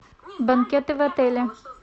банкеты в отеле